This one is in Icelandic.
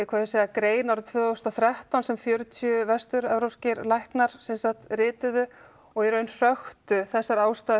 grein tvö þúsund og þrettán sem fjörutíu vesturevrópskir læknar rituðu og í raun hröktu þessar ástæður